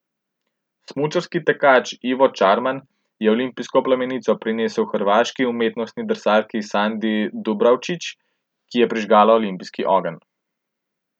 Smučarski tekač Ivo Čarman je olimpijsko plamenico prinesel hrvaški umetnostni drsalki Sandi Dubravčić, ki je prižgala olimpijski ogenj.